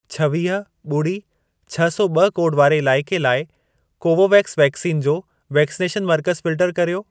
छवीह, ॿुड़ी, छ सौ ॿ कोड वारे इलाइके लाइ कोवोवेक्स वैक्सीन जो वैक्सनेशन मर्कज़ फिल्टर कर्यो।